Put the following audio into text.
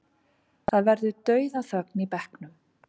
Það verður dauðaþögn í bekknum.